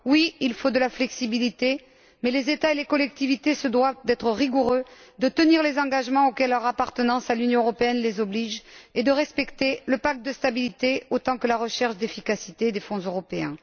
Oui, il faut de la flexibilité mais les États et les collectivités se doivent d'être rigoureux, de tenir les engagements auxquels leur appartenance à l'Union européenne les oblige et de respecter le pacte de stabilité autant que la recherche d'efficacité des Fonds européens.